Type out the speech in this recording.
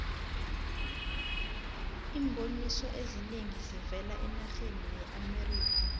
iimboniso ezinengi zivela enarheni yeamerikha